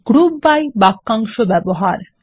group BYবাক্যাংশ ব্যবহার